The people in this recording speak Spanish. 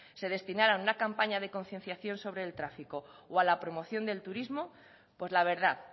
se destinaran a una campaña de concienciación sobre el tráfico o a la promoción del turismo pues la verdad